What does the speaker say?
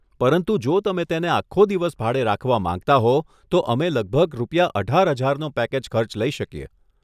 પરંતુ જો તમે તેને આખો દિવસ ભાડે રાખવા માંગતા હો તો અમે લગભગ રૂપિયા અઢાર હજારનો પેકેજ ખર્ચ લઈ શકીએ.